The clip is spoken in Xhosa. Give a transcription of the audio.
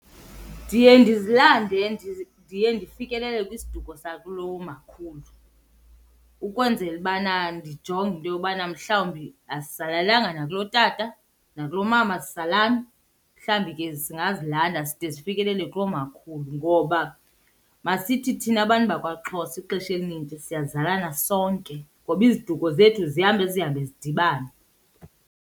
Ndiye ndizilande ndiye ndifikelele kwisiduko sakulomakhulu ukwenzela ubana ndijonge into yobana mhlawumbi asizalelanga nakulotata nakulomama asizalani, mhlawumbi ke singazilanda zide zifikelele kulomakhulu. Ngoba masithi thina bantu bakwaXhosa ixesha elinintsi siyazalana sonke ngoba iziduko zethu zihambe zihambe zidibane.